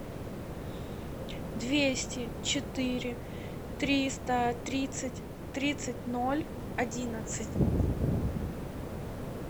двести четыре триста тридцать тридцать ноль одиннадцать